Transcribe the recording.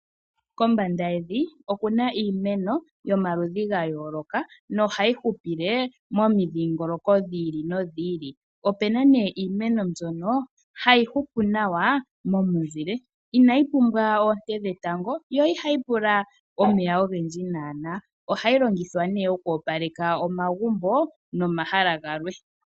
Kombanda yevi oku na iimeno yomaludhi gayooloka nohayi hupile momindhingololoko yayoolokothana. Ope na iimeno mbyono hayi hupu nawa momunzile inayi pumbwa oonte dhetango, yo ihayi pula omeya ogendji nohayi longithwa okwoopaleka omagumbo nomahala galwe.